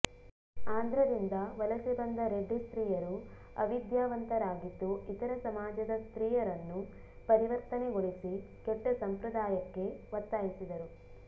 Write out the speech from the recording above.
ಆಂಧ್ರದಿಂದ ವಲಸೆ ಬಂದ ರೆಡ್ಡಿ ಸ್ತ್ರೀಯರು ಅವಿದ್ಯಾವಂತರಾಗಿದ್ದು ಇತರ ಸಮಾಜದ ಸ್ತ್ರೀಯರನ್ನು ಪರಿವರ್ತನೆಗೊಳಿಸಿ ಕೆಟ್ಟ ಸಂಪ್ರದಾಯಕ್ಕೆ ಒತ್ತಾಯಿಸಿದರು